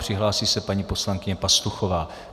Připraví se paní poslankyně Pastuchová.